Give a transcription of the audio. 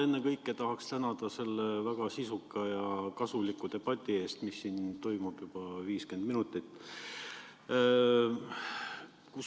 Ennekõike tahaks tänada selle väga sisuka ja kasuliku debati eest, mis siin toimub juba 50 minutit.